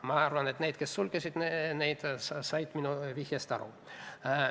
Ma arvan, et inimesed, kes need sulgesid, said minu vihjest aru.